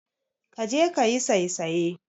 Kaje kayi saisaye.